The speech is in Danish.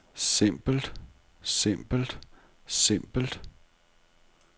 simpelt simpelt simpelt